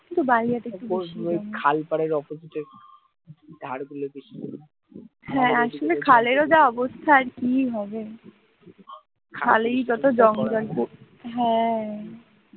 হ্যাঁ,